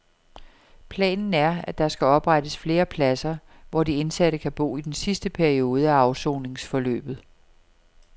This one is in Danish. Planen er, at der skal oprettes flere pladser, hvor de indsatte kan bo i den sidste periode af afsoningsforløbet.